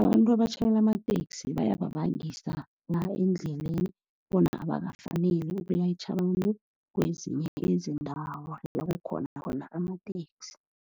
abantu abatjhayela amateksi bayababangisa la endleleni, bona abakafaneli ukulayitjha abantu kwezinye izindawo la kukhona khona amateksi.